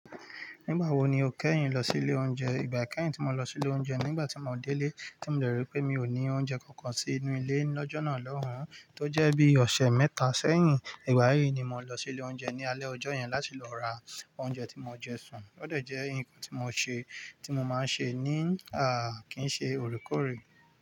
Nígbà wo ni o kẹ́yìn lọ sí ilé oúnjẹ? Ìgbà kẹ́yìn tí mo lọ sí ilé oúnjẹ ni nígbà tí mo délé tí mo dẹ̀ ríi pé mi ò ní oúnjẹ kankan sínú ilé lọ́jọ́ náà lọ́hùn, tó jẹ́ bí ọ̀sẹ̀ mẹ́ta sẹ́yìn. Ìgbà yí ni mo lọ sí ilé oúnjẹ ní alẹ́ ọjọ́ yẹn láti lọ ra oúnjẹ tí mo jẹ sùn. Ó dẹ̀ jẹ́ nǹkan ti mo se tí mo máa ń ṣe ní kín ṣe oorekoórè.